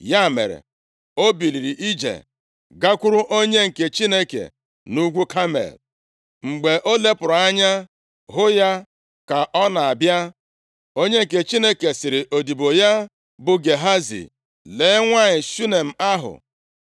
Ya mere, o buliri ije, + 4:25 Njem a, ga-abụ ihe dị ka kilomita iri atọ site nʼobodo Shunem ruo nʼugwu a. gakwuru onye nke Chineke nʼugwu Kamel. Mgbe o lepụrụ anya hụ ya ka ọ na-abịa, onye nke Chineke sịrị odibo ya bụ Gehazi, “Lee nwanyị Shunem ahụ.